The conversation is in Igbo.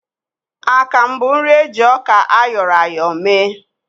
Akamụ bụ nri eji ọka áyọ̀rọ̀ ya áyọ̀ mee